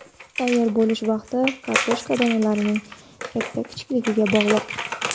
Tayyor bo‘lish vaqti kartoshka donalarining katta-kichikligiga bog‘liq.